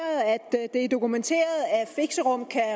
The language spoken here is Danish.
det er dokumenteret at fixerum kan